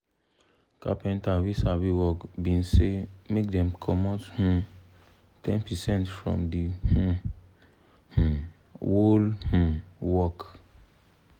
carpenta wey sabi work been say make dem comot um ten percent from the um um whole um work